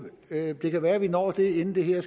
det kan være vi når det inden det her